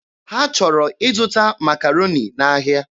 Ha chọrọ ịzụta Makaroni n'ahịa.